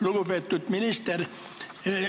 Lugupeetud minister!